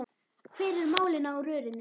Hver eru málin á rörinu?